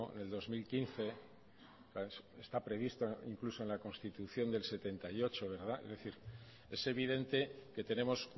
del dos mil quince está previsto incluso en la constitución del setenta y ocho verdad es evidente que tenemos